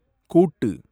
கூட்டு